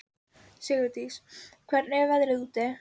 Sigurdís, hvernig er veðrið úti?